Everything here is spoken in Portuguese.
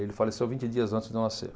Ele faleceu vinte dias antes de eu nascer.